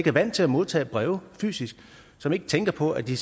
er vant til at modtage breve fysisk og som ikke tænker på at de